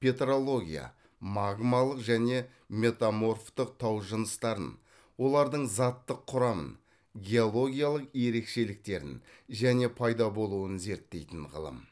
петрология магмалық және метаморфтық тау жыныстарын олардың заттық құрамын геологиялық ерекшеліктерін және пайда болуын зерттейтін ғылым